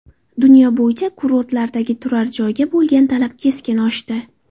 Dunyo bo‘yicha kurortlardagi turar joyga bo‘lgan talab keskin oshdi.